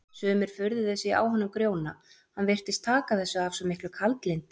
Sumir furðuðu sig á honum Grjóna, hann virtist taka þessu af svo miklu kaldlyndi.